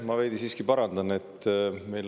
Ma veidi siiski parandan.